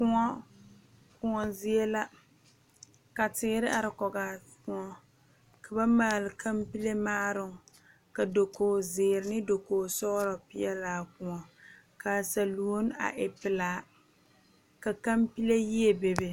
Kóɔ Kóɔ zie la ka teere are kogaa Kóɔ ka ba maale kampele maaroŋ ka dakoo zeere ne dakoo peɛle peɛlaa Kóɔ kaa saluoni a e pelaa ka kampele yie be be